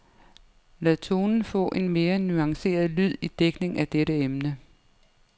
Lad tonen få en mere nuanceret lyd i dækning af dette emne.